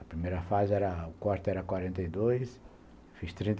A primeira fase, o corte era quarenta e dois, fiz trinta